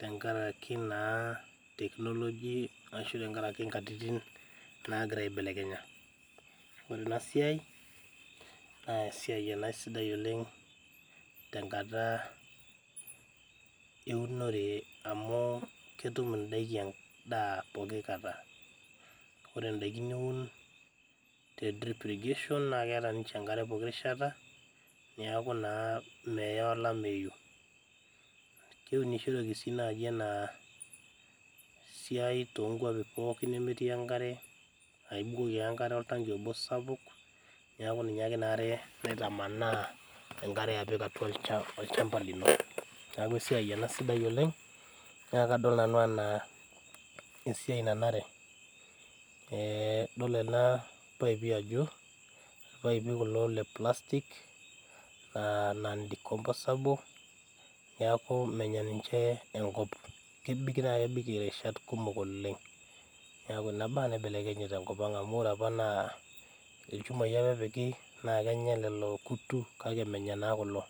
tenkaraki naa technology ashu tenkarake inkatitin naagira aibelekenya ore ena siai naa esiai ena sidai oleng tenkata eunore amu ketum indaiki endaa poki kata ore indaiki niun te drip irrigation naa keeta ninche enkare poki rishata niaku naa meya olameyu keunishoreki sii naaji ena siai tonkuapi pookin nemetii enkare aibukoki ake enkare oltanki obo sapuk niaku ninye ake inare naitamanaa enkare apik atua olchamba lino neaku esiai ena sidai oleng nia kadol nanau anaa esiai nanare eh idol ena paipi ajo irpaipi kulo le plastic naa non decomposable niaku menya ninche enkop kebik naa kebik irishat kumok oleng niaku ina baa naibelekenye tenkop ang amu ore apa naa ilchumai apa epiki naa kenya lelo kutu kake menya naa kulo.